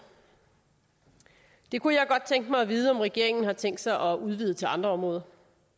det kunne jeg godt tænke mig at vide om regeringen har tænkt sig at udvide til andre områder